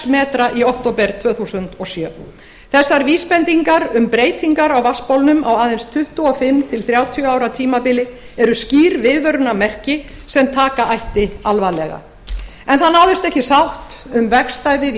metra í október tvö þúsund og sjö þessar vísbendingar um breytingar á vatnsbólum á aðeins tuttugu og fimm til þrjátíu ára tímabili eru skýr viðvörunarmerki sem taka ætti alvarlega en það náðist ekki sátt um vegstæðið í